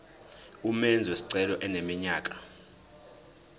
umenzi wesicelo eneminyaka